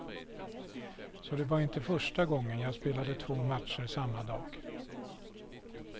Så det var inte första gången jag spelade två matcher samma dag.